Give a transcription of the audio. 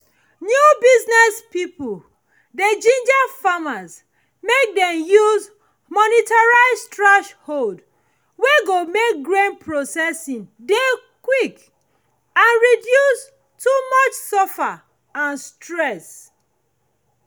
new business pipo dey ginger farmers make dem use motorized threshold wey go make grain processing dey quick and reduce too much suffer and stress